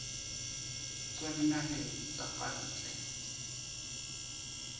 tswa dinaheng tsa ka ntle